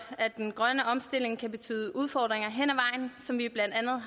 at den grønne omstilling kan betyde udfordringer hen